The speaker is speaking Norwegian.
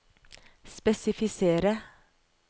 spesifisere